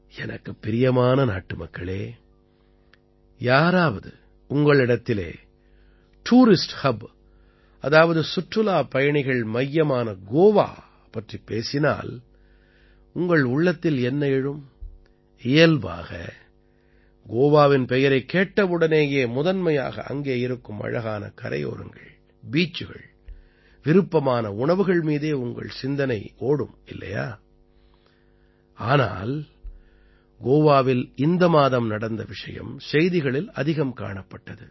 எனக்குப் பிரியமான நாட்டுமக்களே யாராவது உங்களிடத்திலே டூரிஸ்ட் ஹப் அதாவது சுற்றுலாப்பயணிகள் மையமான கோவா பற்றிப் பேசினால் உங்கள் உள்ளத்தில் என்ன எழும் இயல்பாக கோவாவின் பெயரைக் கேட்டவுடனேயே முதன்மையாக அங்கே இருக்கும் அழகான கரையோரங்கள் பீச்சுகள் விருப்பமான உணவுகள் மீதே உங்கள் சிந்தனை ஓடும் இல்லையா ஆனால் கோவாவில் இந்த மாதம் நடந்த விஷயம் செய்திகளில் அதிகம் காணப்பட்டது